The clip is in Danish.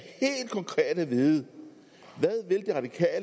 at vide